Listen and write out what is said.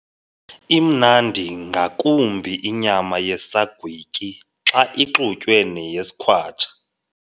Imnandi ngakumbi inyama yesagwityi xa ixutywe neyesikhwatsha.